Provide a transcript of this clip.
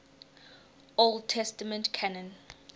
old testament canon